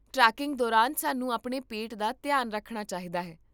tracking ਦੌਰਾਨ ਸਾਨੂੰ ਆਪਣੇ ਪੇਟ ਦਾ ਧਿਆਨ ਰੱਖਣਾ ਚਾਹੀਦਾ ਹੈ